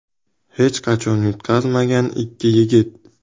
Hech qachon yutqazmagan ikki yigit.